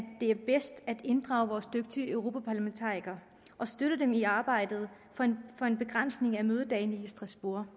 inddrage vores dygtige europaparlamentarikere og støtte dem i arbejdet for en begrænsning af mødedagene i strasbourg